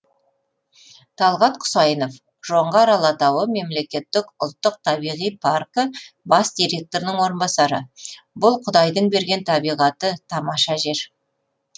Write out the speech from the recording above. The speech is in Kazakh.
талғат құсайынов жоңғар алатауы мемлекеттік ұлттық табиғи паркі бас директорының орынбасары бұл құдайдың берген табиғаты тамаша жер